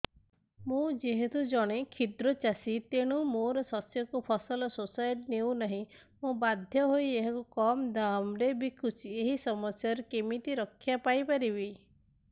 ମୁଁ ଯେହେତୁ ଜଣେ କ୍ଷୁଦ୍ର ଚାଷୀ ତେଣୁ ମୋ ଶସ୍ୟକୁ ଫସଲ ସୋସାଇଟି ନେଉ ନାହିଁ ମୁ ବାଧ୍ୟ ହୋଇ ଏହାକୁ କମ୍ ଦାମ୍ ରେ ବିକୁଛି ଏହି ସମସ୍ୟାରୁ କେମିତି ରକ୍ଷାପାଇ ପାରିବି